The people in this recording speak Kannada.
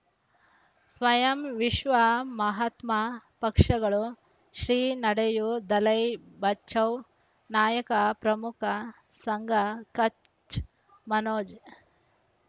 ಸ್ವಯಂ ವಿಶ್ವ ಮಹಾತ್ಮ ಪಕ್ಷಗಳು ಶ್ರೀ ನಡೆಯೂ ದಲೈ ಬಚೌ ನಾಯಕ ಪ್ರಮುಖ ಸಂಘ ಕಚ್ ಮನೋಜ್